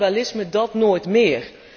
Kannibalisme, dat nooit meer!